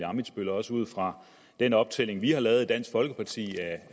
ammitzbøll også ud fra den optælling vi har lavet i dansk folkeparti af